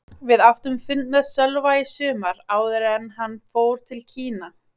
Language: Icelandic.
Við áttum fund með Sölva í sumar, áður en hann fór til Kína.